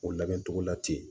O labɛn togo la ten